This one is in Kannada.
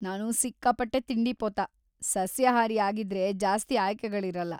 ನಾನು ಸಿಕ್ಕಾಪಟ್ಟೆ ತಿಂಡಿಪೋತ, ಸಸ್ಯಾಹಾರಿ ಆಗಿದ್ರೆ ಜಾಸ್ತಿ ಆಯ್ಕೆಗಳಿರಲ್ಲ.